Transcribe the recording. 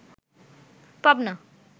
Pabna